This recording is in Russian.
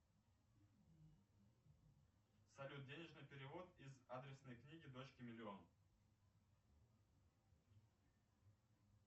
салют денежный перевод из адресной книги дочке миллион